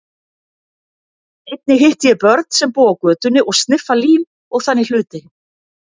Einnig hitti ég börn sem búa á götunni og sniffa lím og þannig hluti.